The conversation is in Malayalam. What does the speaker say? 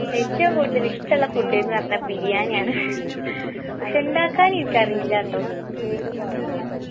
ഏറ്റവും കൂടുതൽ ഇഷ്ടമുള്ള food ന്ന് പറഞ്ഞാ ബിരിയാണി ആണ് പക്ഷെ ഇണ്ടാക്കാൻ എനിക്കറീലാട്ടോ